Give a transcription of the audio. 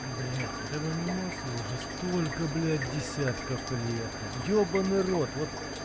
блядь этому мемасу уже столько блядь десятков лет ёбанный рот вот